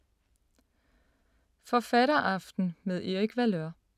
Forfatteraften med Erik Valeur